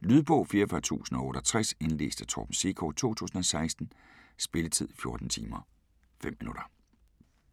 Lydbog 44068 Indlæst af Torben Sekov, 2016. Spilletid: 14 timer, 5 minutter.